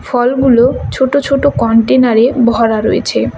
ফলগুলো ছোটো ছোটো কনটেনারে ভরা রয়েছে।